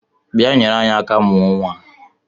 Bịa nyere anyị aka mụọ nnwa a!